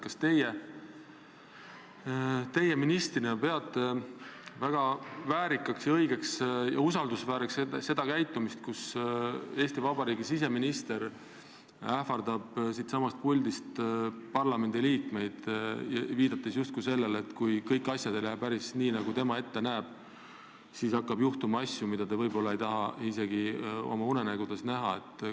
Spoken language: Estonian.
Kas teie ministrina peate väärikaks ja õigeks ja usaldusväärseks sellist käitumist, et Eesti Vabariigi siseminister ähvardab siitsamast puldist parlamendiliikmeid, et kui kõik asjad ei lähe päris nii, nagu tema ette näeb, siis hakkab juhtuma asju, mida me ei taha isegi oma unenägudes näha?